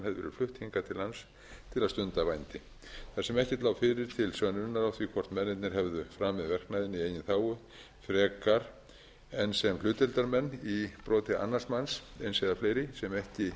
flutt hingað til lands til að stunda vændi þar sem ekkert lá fyrir til sönnunar á því hvort mennirnir hefðu framið verknaðinn í eigin þágu frekar en sem hlutdeildarmenn í broti annars manns eins eða fleiri sem